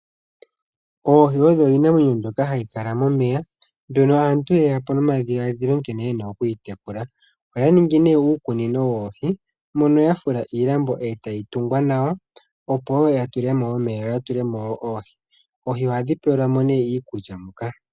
Oohi odho iinamwenyo mbyoka hayi kala momeya mbyono aantu yeyapo nomadhilaadhilo nkene yena oku yitekula. oya ningi nee iikunino yoohi mono ya fula iilambo etayi tungwa nawa opo ya tungwa ya tulemo oohi. Oohi ohadhi tulilwamo nee iikulya moka.